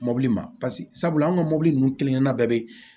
Mɔbili ma paseke sabula an ka mɔbili ninnu kelen kelenna bɛɛ bɛ